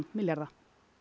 milljarða